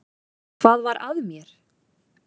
Hvað var að mér!